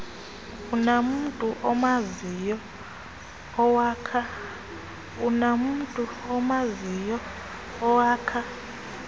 unamntu umaziyo owakha